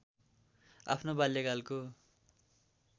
आफ्नो बाल्यकालको